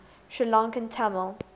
sri lankan tamil